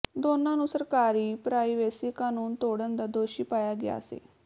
ਦੋਨਾਂ ਨੂੰ ਸਰਕਾਰੀ ਪ੍ਰਾਈਵੇਸੀ ਕਾਨੂੰਨ ਤੋੜਨ ਦਾ ਦੋਸ਼ੀ ਪਾਇਆ ਗਿਆ ਸੀ